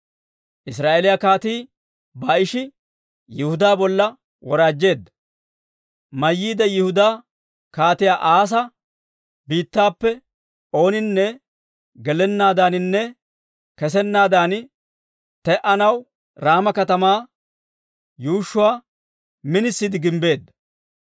Israa'eeliyaa Kaatii Baa'ishi Yihudaa bolla woraajjeedda; mayyiide Yihudaa Kaatiyaa Asaa biittappe ooninne gelennaadaaninne kessennaadan te'anaw Raama katamaa yuushshuwaa minisiide gimbbeedda.